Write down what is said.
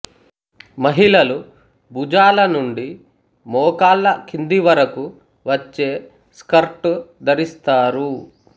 మహిళలు భుజాల నుండి మోకాళ్ల కింది వరకు వచ్చే స్కర్టు ధరిస్తారు